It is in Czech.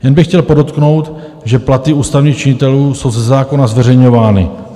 Jen bych chtěl podotknout, že platy ústavních činitelů jsou ze zákona zveřejňovány.